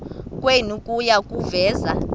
kwenu kuya kuveza